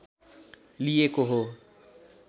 लिइएको हो